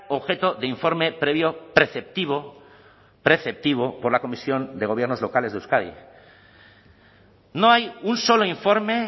objeto de informe previo preceptivo preceptivo por la comisión de gobiernos locales de euskadi no hay un solo informe